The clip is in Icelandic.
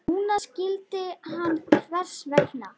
Núna skildi hann hvers vegna.